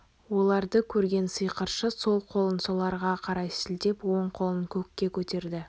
оларды көрген сиқыршы сол қолын соларға қарай сілтеп оң қолын көкке көтерді